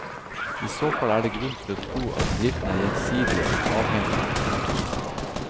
I så fall er det grunn til å tro at bedriftene er gjensidige avhengige. punktum